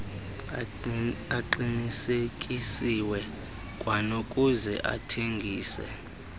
aqinisekisiweyo kwanokuze athengise